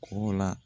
K'o la